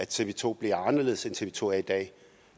tv to anderledes end tv to er i dag